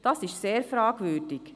Das ist sehr fragwürdig.